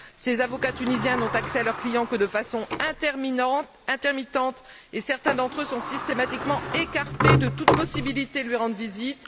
Ses avocats tunisiens n'ont accès à leur client que de façon intermittente et certains d'entre eux sont systématiquement écartés de toute possibilité de lui rendre visite.